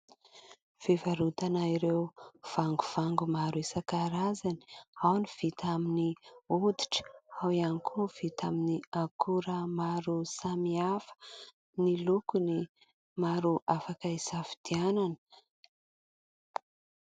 Fivarotana ireo vangovango maro isan-karazany. Ao ny vita amin'ny hoditra ao ihany koa ny vita amin'ny akora maro samy hafa. Ny lokony maro afaka hisafidianana.